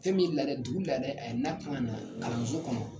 Fɛn min laada ye dugu laada a ye n'a kan ka na kalanso kɔnɔ